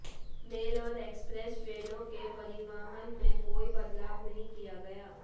mail और express ट्रेनों के परिवहन में कोई बदलाव नहीं किया गया